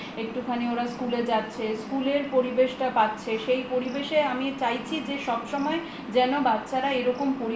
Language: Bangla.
একটুখানি ওরা স্কুল এ যাচ্ছে স্কুলের পরিবেশটা পাচ্ছে সেই পরিবেশে আমি চাইছি যে সবসময় যেন বাচ্ছারা এরকম